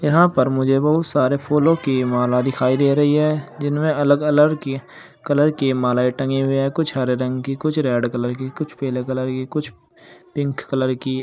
यहां पर मुझे बहुत सारे फूलों की माला दिखाई दे रही है जिनमें अलग अलर की कलर की मालाएं टंगी हुई हैं। कुछ हरे रंग की कुछ रेड कलर की कुछ पीले कलर की कुछ पिंक कलर की।